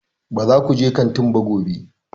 Ba za ku je kantin ba gobe!